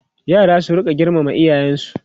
yara su rinka girmama iyayensu